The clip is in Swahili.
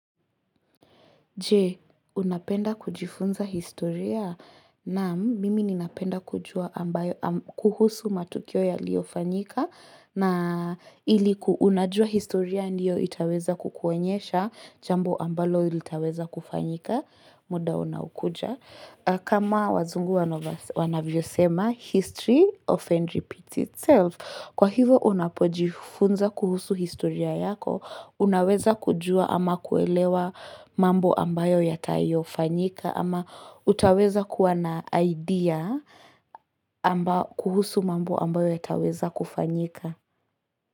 Je, unapenda kujifunza historia. Naam, mimi ninapenda kujua kuhusu matukio yaliyofanyika na Unajua historia ndiyo itaweza kukuonyesha jambo ambalo litaweza kufanyika muda unaokuja. Kama wazungu wanavyosema, history often repeats itself. Kwa hivo, unapojifunza kuhusu historia yako, unaweza kujua ama kuelewa mambo ambayo yatayofanyika. Ama utaweza kuwa na idea. Kuhusu mambo ambayo yataweza kufanyika.